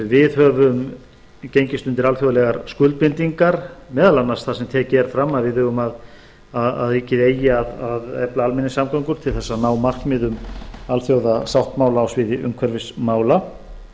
við höfum gengist undir alþjóðlegar skuldbindingar meðal annars þar sem tekið er fram að ríkið eigi að efla almenningssamgöngur til að ná markmiðum alþjóðasáttmála á sviði umhverfismála